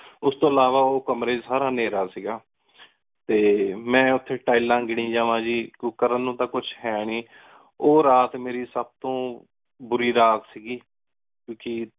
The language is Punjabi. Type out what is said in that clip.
ਉਸ ਤੋ ਇਲਾਵਾ ਉਸ ਕਾਮਰੀ ਏਚ ਸਾਰਾ ਅੰਧੇਰਾ ਸੀ ਟੀ ਮੇਂ ਓਥੀ ਤਿਲੇਸ ਗਿਨੀ ਜਾਂਵਾ ਗੀ ਕਰਨ ਨੂ ਤਾਂ ਕੁਝ ਹੈ ਨੀ ਸੀ ਓਹ ਰਾਤ ਮੇਰੀ ਸਬ ਤੋ ਬੁਰੀ ਰਾਤ ਸੀ ਗੀ